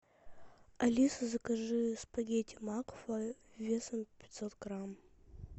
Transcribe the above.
алиса закажи спагетти макфа весом пятьсот грамм